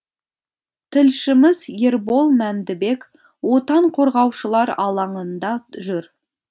тілшіміз ербол мәндібек отан қорғаушылар алаңында жүр